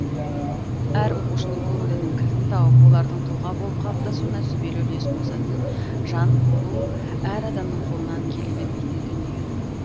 әр оқушының көңілінің кілтін тауып олардың тұлға болып қалыптасуына сүбелі үлес қосатын жан болу әр адамның қолынан келе бермейтін дүние